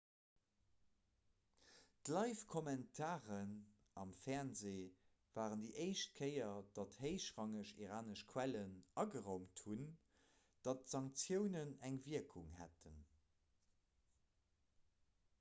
d'livekommentaren am fernsee waren déi éischt kéier datt héichrangeg iranesch quellen ageraumt hunn datt d'sanktiounen eng wierkung hätten